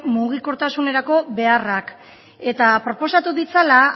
mugikortasunerako beharrak eta proposatu ditzala